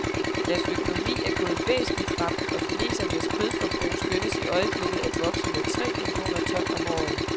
Deres økonomi er gået væsentlig frem, og kinesernes kødforbrug skønnes i øjeblikket at vokse med tre millioner ton om året.